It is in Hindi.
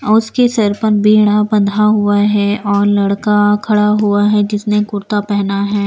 उसके सर पर बंधा हुआ है और लड़का खड़ा हुआ है जिसने कुर्ता पहना है।